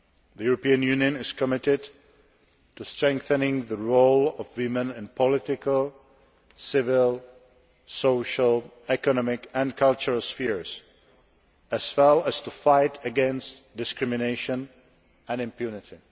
The European Union is committed to strengthening the role of women in political, civil, social, economic and cultural spheres, as well as to fighting against discrimination and impunity.